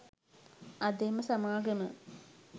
අද එම සමාගම